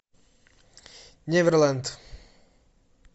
неверленд